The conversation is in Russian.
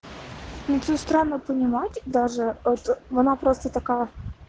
медсестра на понимать даже от она просто такая